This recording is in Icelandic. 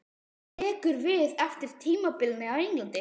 Hvað tekur við eftir tímabilið á Englandi?